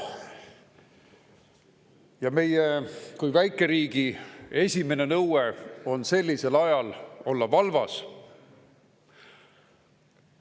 Ja meie kui väikeriigi esimene nõue sellisel ajal on olla valvas.